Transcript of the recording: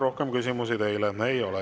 Rohkem küsimusi teile ei ole.